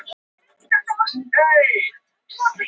Svo segir hann að þetta sé allt í lagi og að allt hafi tekist vel.